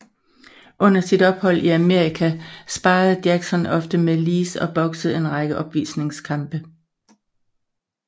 Under sit ophold i Amerika sparrede Jackson ofte med Lees og boksede en række opvisningskampe